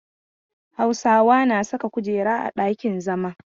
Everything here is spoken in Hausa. Hausawa na saka kujeru a ɗakin zama.